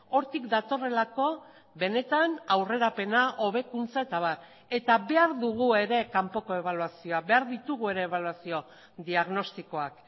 hortik datorrelako benetan aurrerapena hobekuntza eta abar eta behar dugu ere kanpoko ebaluazioa behar ditugu ere ebaluazio diagnostikoak